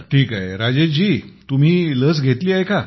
ठीक आहे राजेश जी तुम्ही लस घेतली आहे का